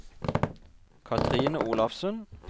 Cathrine Olafsen